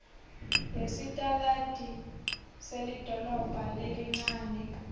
yesitaladi selidolobha lelincane